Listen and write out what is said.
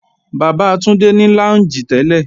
Bàbá Túndé ní lọ́únjì tẹ́lẹ̀